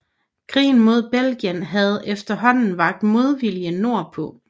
Krigen mod Belgien havde efterhåanden vakt modvilje nord på